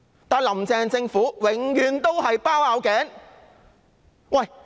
但是，"林鄭"政府永遠"包拗頸"。